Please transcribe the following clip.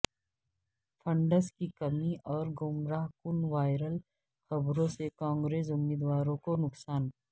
funds کی کمی اور گمراہ کن وائرل خبروں سے کانگریس امیدواروں کو نقصان